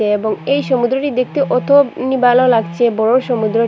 এবং এই সমুদ্রটি দেখতে অতনি ভালো লাগছে বড়ো সমুদ্রটি--